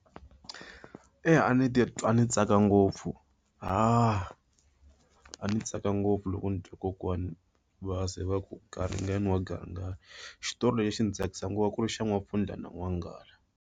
Eya, a ndzi ti twa ndzi tsaka ngopfu ni tsaka ngopfu loko ni twa kokwani va ze va ku garingani wa garingani. Xitori lexi a xi ndzi tsakisa ngopfu ku ri xa N'wapfundla na N'wanghala.